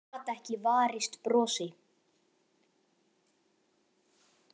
Hann gat ekki varist brosi.